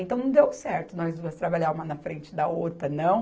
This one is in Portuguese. Então, não deu certo nós duas trabalhar uma na frente da outra, não.